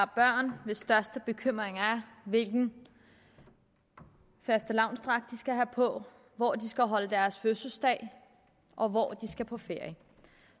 børn hvis største bekymring er hvilken fastelavnsdragt de skal have på hvor de skal holde deres fødselsdag og hvor de skal på ferie